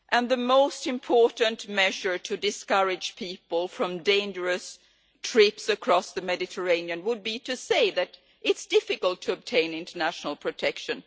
The most important measure to discourage people from dangerous trips across the Mediterranean would be to say that it is difficult to obtain international protection.